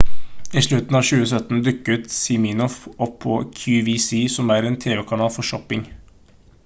i slutten av 2017 dukket siminoff opp på qvc som er en tv-kanal for shopping